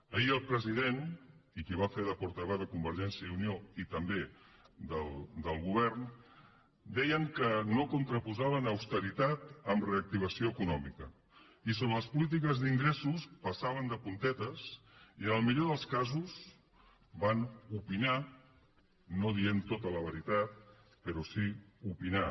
ahir el president i qui va fer de portaveu de convergència i unió i també del govern deien que no contraposaven auste ritat a reactivació econòmica i sobre les polítiques d’ingressos passaven de puntetes i en el millor dels casos van opinar no dient tota la veritat però sí opinar